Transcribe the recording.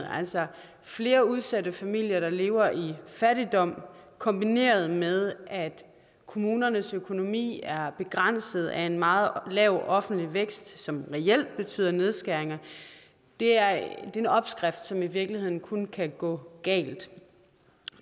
altså flere udsatte familier der lever i fattigdom kombineret med at kommunernes økonomi er begrænset af en meget lav offentlig vækst som reelt betyde nedskæringer det er en opskrift som i virkeligheden kun kan gå galt